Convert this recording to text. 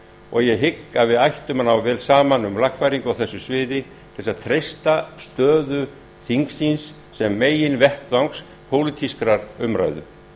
og ég hygg að við ættum að ná vel saman um lagfæringu á þessu sviði til að treysta stöðu þingsins sem meginvettvangs pólitískrar umræðu